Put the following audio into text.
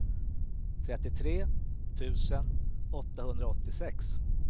trettiotre tusen åttahundraåttiosex